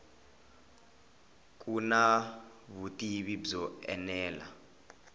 ku na vutivi byo enela